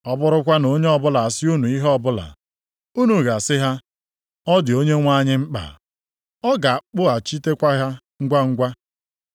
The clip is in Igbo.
Ọ bụrụkwa na onye ọbụla asị unu ihe ọbụla, unu ga-asị ha, ọ dị Onyenwe anyị mkpa, ọ ga-akpụghachitekwa ha ngwangwa.”